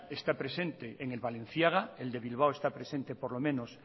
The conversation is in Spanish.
está presente en el balenciaga el de bilbao está presente por lo menos